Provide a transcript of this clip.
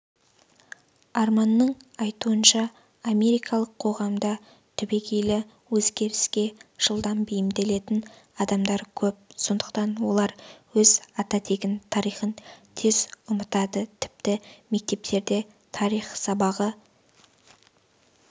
арманның айтуынша америкалық қоғамда түбегейлі өзгеріске жылдам бейімделетін адамдар көп сондықтан олар өз ата-тегін тарихын тез ұмытады тіпті мектептерде тарих сабағы